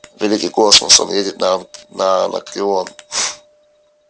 великий космос он едет на на анакреон